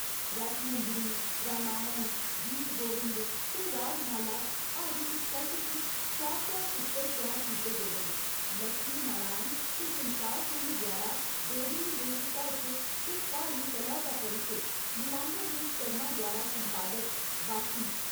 रसमंजरी, रामायण, गीत गोविंद ते रागमाला हर इक सैट्ट च सौ सौ चित्तर त्यार कीते गेदे न, लक्ष्मी नारायण ते संसार चंद द्वारा डोगरी लोक साहित्य ते प्हाड़ी कला दा परिचे, नीलांबर देव शर्मा द्वारा संपादत, बास्सी।